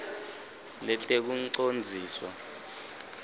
letekucondziswa